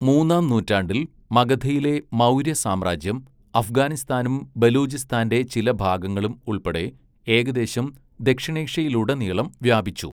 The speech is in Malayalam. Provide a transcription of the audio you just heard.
മൂന്നാം നൂറ്റാണ്ടിൽ മഗധയിലെ മൗര്യ സാമ്രാജ്യം അഫ്ഗാനിസ്ഥാനും ബലൂചിസ്ഥാന്റെ ചില ഭാഗങ്ങളും ഉൾപ്പെടെ ഏകദേശം ദക്ഷിണേഷ്യയിലുടനീളം വ്യാപിച്ചു.